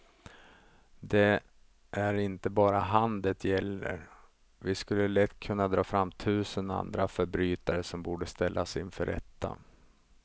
Det är inte bara han det gäller, vi skulle lätt kunna dra fram tusen andra förbrytare som borde ställas inför rätta.